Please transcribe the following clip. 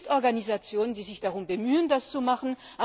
Es gibt Organisationen, die sich darum bemühen, das zu machen.